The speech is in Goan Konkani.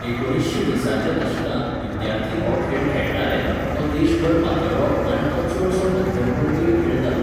एकुणीशें वीसाच्या दशकांत विद्यार्थी हो खेळ खेळटाले, तो देशभर पातळ्ळो आनी तो चडसो मध्यमवर्गीय खेळ जालो.